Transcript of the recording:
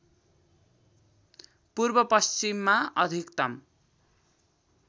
पूर्व पश्चिममा अधिकतम